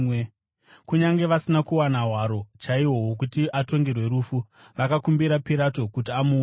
Kunyange vasina kuwana hwaro chaihwo hwokuti atongerwe rufu, vakakumbira Pirato kuti amuuraye.